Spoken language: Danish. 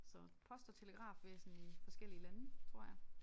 Så post og telegrafvæsen i forskellige lande tror jeg